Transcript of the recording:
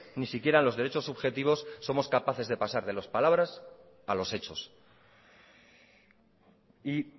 ni siquiera los derechos subjetivos somos capaces de pasar de las palabras a los hechos y